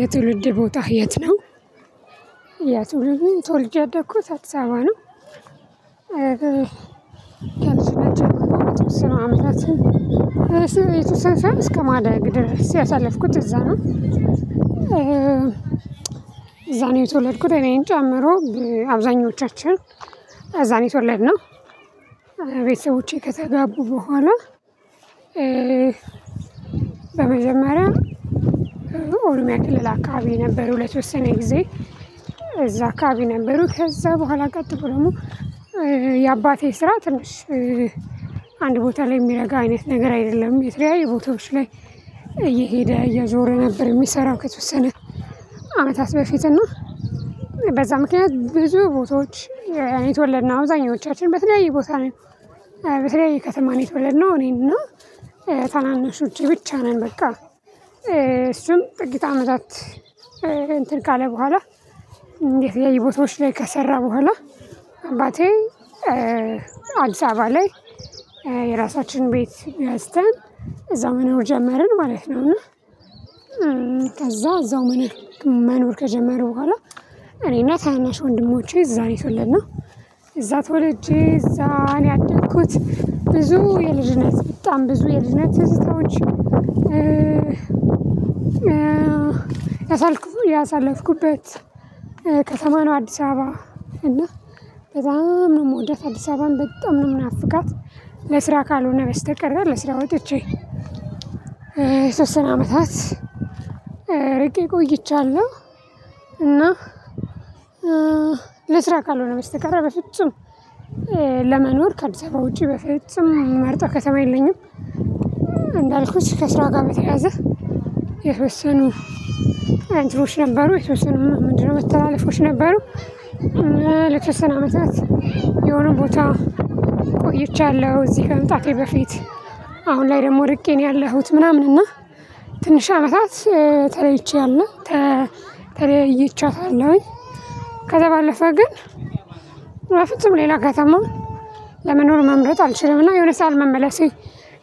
የትውልድ ቦታህ የት ነው? የትውልድ ተወልጄ ያደኩት አዲስአባ ነው። የተሰወሰኑ አመታትን የተሰነ ሳይሆን እስከማደግ ድረስ ያሳለፍኩት እዛ ነው። እዛ የተወለድኩት እኔን ጨምሮ አብዛኞቻችን እዛ ነው የተወለድነው። ቤተሰቦቼ ከተጋቡ በኋላ በመጀመሪያ ኦሮሚያ ክልል አካባቢ ነበሩ ለተወሰነ ጊዜ እዛ አካባቢ ነበሩ። ከዛ በኋላ ቀጥል ደግሞ የአባቴ ስራ ትንሽ አንድ ቦታ ላይ የሚረጋ አይነት ነገር አይደለም። የተለያዩ ቦታዎች ላይ እየሄደ እየዞረ ነበር የሚሰራው። ከተወሰነ አመታት በፊት እና በዛ ምክንያት ብዙ ቦታዎች የተወለድነው አብዛኞቻችን በተለያየ ቦታ ነው በተለያየ ከተማ ነው። እኔና ታናናሾቼ ብቻ ነን። በቃ እሱም ጥቂት አመታት እንትን ካለ በኋላ እንዴት የየቦታዎች ላይ ከሰራ በኋላ አባቴ አዲስ አበባ ላይ የራሳችንን ቤት ገዝተን እዛ መኖር ጀመርን ማለት ነው። እና ከዛ እዛው መኖር መኖር ከጀመሩ በኋላ እኔና ታናሽ ወንድሞቼ እዛ የተወለድነው እዛ ተወልጄ እዛ ነው ያደኩት። ብዙ የልጅነት በጣም ብዙ የልጅነት ትዝታዎች ያሳልኩ ያሳለፍኩበት ከተማ ነው። አዲስ አበባ እና በጣም ነው የምወዳት አዲስ አበባን በጣም ነው የምናፍቃት። ለስራ ካልሆነ በስተቀር ለስራ ወጥቼ የተወሰነ አመታት ርቄ ቆይቻለሁ። እና ለስራ ካልሆነ በስተቀር በፍጹም ለመኖር ከአዲስ አበባ ውጪ በፍጹም የምመርጠው ከተማ የለኝም። እንዳልኩት ከስራ ጋር በተያያዘ የተወሰኑ እንትኖች ነበሩ የተወሰኑ ምንድነው መተላለፎች ነበሩ። ለተወሰነ አመታት የሆነ ቦታ ቆይቻለሁ እዚህ ከመምጣቴ በፊት። አሁን ላይ ደግሞ እርቄ ነው ያለሁት ምናምን እና ትንሽ አመታት ተለይቼዋለሁ። ተለያይቻታለሁኝ ከዛ ባለፈ ግን በፍጹም ሌላ ከተማ ለመኖር መምረጥ አልችልምና የሆነ ሰዓት መመለሴ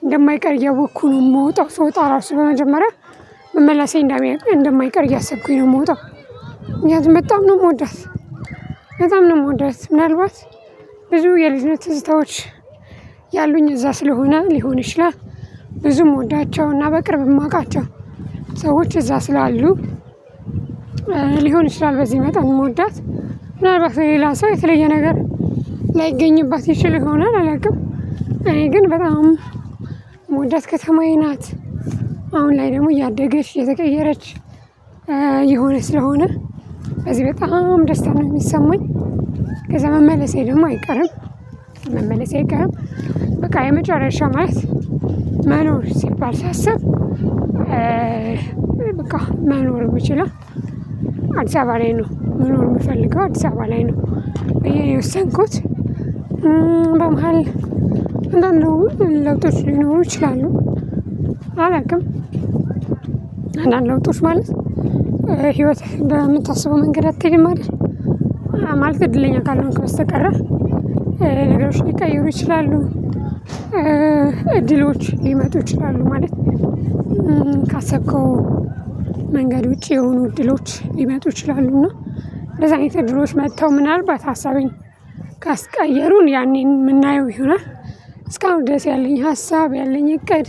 እንደማይቀር እያወቅኩኝ ነው። እምወጣው ስወጣ ራሱ በመጀመሪያ መመለሴ እንዳይቀር እንደማይቀር እያሰብኩኝ ነው የምወጣው። ምክንያቱም በጣም ነው የምወዳት በጣም ነው የምወዳት ምናልባት ብዙ የልጅነት ትዝታዎች ያሉኝ እዛ ስለሆነ ሊሆን ይችላል። ብዙ ምወዳቸውና በቅርብ የማውቃቸው ሰዎች እዛ ስላሉ። ሊሆን ይችላል በዚህ መጣን የምወዳት ምናልባት ለሌላ ሰው የተለየ ነገር ላይገኝባት ይችል ሆናል አላውቅም። እኔ ግን በጣም ምመውዳት ከተማዬ ናት። አሁን ላይ ደግሞ እያደገች እየተቀየረች እየሆነ ስለሆነ በዚህ በጣም ደስታ ነው የሚሰማኝ። ከዛ መመለሴ ደግሞ አይቀርም መመለሴ አይቀርም። በቃ የመጨረሻ ማለት መኖር ሲባል ሳስብ በቃ መኖር የምችለው አዲስ አበባ ላይ ነው መኖር የምፈልገው አዲስ አበባ ላይ ነው። ብዬ የወሰንኩት። በመሃል ለውጦች ሊኖሩ ይችላሉ። አላውቅም። አንዳንድ ለውጦች ማለት ህይወት በምታስበው መንገድ አትሄድም አይደል? ማለት እድለኛ ካልሆንክ በስተቀረ ነገሮች ሊቀይሩ ይችላሉ። እድሎች ሊመጡ ይችላሉ ማለት ካሰብከው መንገድ ውጪ የሆኑ እድሎች ሊመጡ ይችላሉ እና እንደዛ አይነት እድሎች መጥተው ምናልባት ሀሳቤን ካስቀየሩን ያኔ የምናየው ይሆናል። እስካሁን ድረስ ያለኝ ሀሳብ ያለኝ እቅድ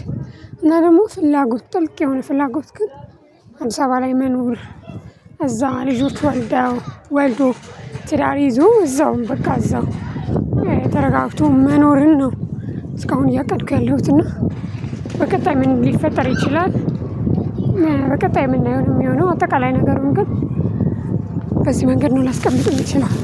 እና ደግሞ ፍላጎት ጥልቅ የሆነ ፍላጎት ግን አዲስ አበባ ላይ መኖር እዛ ልጆች ወልደው ወልዶ ትዳር ይዞ እዛውም በቃ እዛው ተረጋግቶ መኖርን ነው። እስካሁን እያቀድኩ ያለሁት እና በቀጣይ ምን ሊፈጠር ይችላል? በቀጣይ ምናየው ነው የሚሆነው አጠቃላይ ነገሩን ግን በዚህ መንገድ ነው ላስቀምጥም ይችላል።